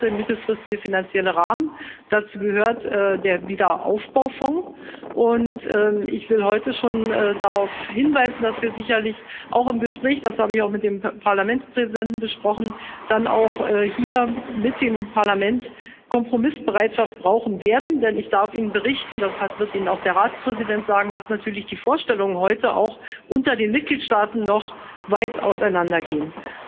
Dazu gehört der mittelfristige finanzielle Rahmen, dazu gehört der Aufbaufonds, und ich will heute schon darauf hinweisen, dass wir sicherlich auch im Gespräch das habe ich auch mit dem Parlamentspräsidenten besprochen dann auch hier mit dem Parlament Kompromissbereitschaft brauchen werden, denn ich darf Ihnen berichten das wird Ihnen auch der Ratspräsident sagen dass natürlich die Vorstellungen heute auch unter den Mitgliedstaaten noch weit auseinandergehen.